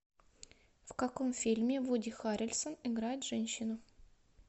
в каком фильме вуди харрельсон играет женщину